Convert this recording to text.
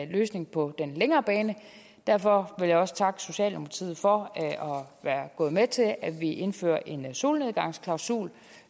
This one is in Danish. løsning på den længere bane derfor vil jeg også takke socialdemokratiet for at være gået med til at vi indfører en solnedgangsklausul